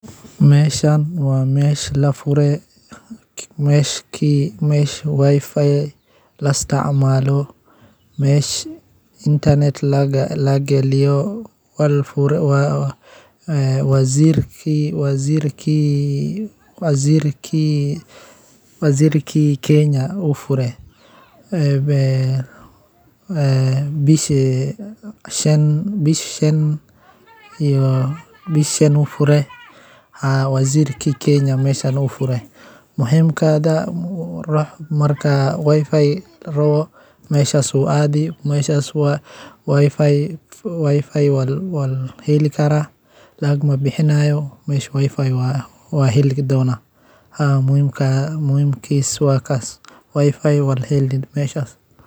WiFi-ga guud ee la heli karo waa adeeg internet oo laga isticmaali karo meelo badan sida makhaayadaha, hoteelada, garoomada diyaaradaha, iyo goobo kale oo dadweyne ah. Adeeggan wuxuu fududeeyaa in qof kastaa si sahlan ugu xirmo internet-ka iyadoon loo baahnayn xog ama kharash badan. Si kastaba ha ahaatee, isticmaalka public WiFi-ga waxaa la socda halis amni oo sareysa, maadaama shabakadahaasi badanaa aysan lahayn ilaalin adag, taasoo ka dhigaysa xogtaada mid u nugul in la jabsado ama la xado.